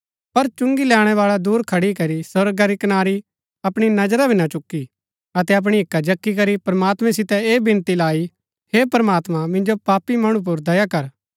पर चुंगी लैणैवाळै दुर खड़ी करी स्वर्गा री कनारी अपणी नजरा भी ना चुकी अतै अपणी हिक्का जक्की करी प्रमात्मैं सितै ऐह विनती लाई हे प्रमात्मां मिन्जो पापी मणु पुर दया कर